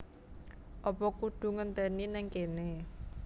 Apa kudu ngenteni ning kene